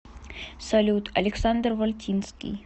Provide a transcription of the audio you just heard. салют александр вальтинский